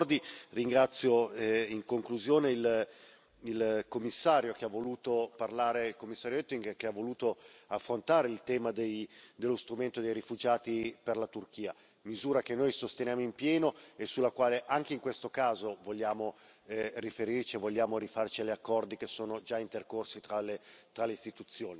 E a proposito di accordi ringrazio, in conclusione, il commissario Oettinger che ha voluto affrontare il tema dello strumento dei rifugiati per la Turchia, misura che noi sosteniamo in pieno e sulla quale, anche in questo caso, vogliamo riferirci e vogliamo rifarci agli accordi che sono già intercorsi tra